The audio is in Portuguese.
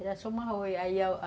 Era aí a